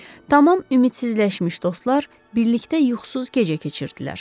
Tamam ümidsizləşmiş dostlar birlikdə yuxusuz gecə keçirdilər.